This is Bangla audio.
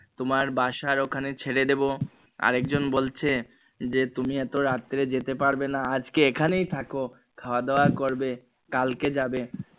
তোমার বাসার ওখানে ছেড়ে দিবো আরেকজন বলছে যে তুমি এতো রাত্রে যেতে পারবে না আজকে এখানেই থাকো খাওয়া দাওয়া করবে কালকে যাবে।